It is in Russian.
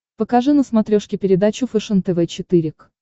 покажи на смотрешке передачу фэшен тв четыре к